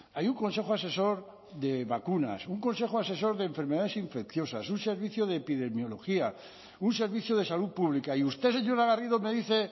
hay un consejo asesor de vacunas un consejo asesor de enfermedades infecciosas un servicio de epidemiología un servicio de salud pública y usted señora garrido me dice